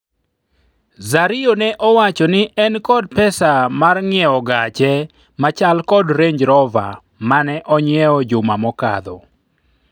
Zario ne owacho ni en kod pesa mar nyiewo gache machal kod Renj Rova mane onyiewo juma mokalo